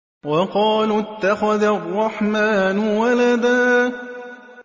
وَقَالُوا اتَّخَذَ الرَّحْمَٰنُ وَلَدًا